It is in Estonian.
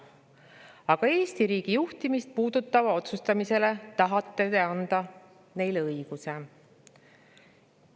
Aga Eesti riigi juhtimist puudutava üle otsustamiseks tahate neile õiguse anda!